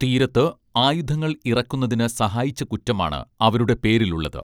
തീരത്ത് ആയുധങ്ങൾ ഇറക്കുന്നതിന് സഹായിച്ച കുറ്റമാണ് അവരുടെ പേരിലുള്ളത്